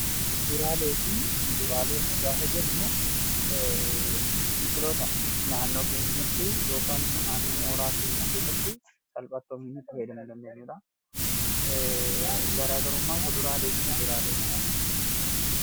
Kuduraaleefi muduraalee; gaafa jennuu, biqiloota naannoo keenyaatti ykn immoo naannoo mooraa keenyaatti keessatti salphatti oomishuun itti faayyadaamu dandeenyuu jechuudha. Garaagarumman kuduraaleefi muduraalee maali?